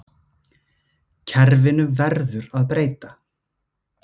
Kerfinu verður að breyta